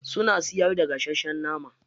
Suna siyar da gasasshen nama.